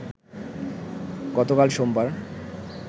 গতকাল সোমবার